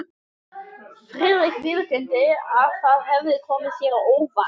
Friðrik viðurkenndi, að það hefði komið sér á óvart.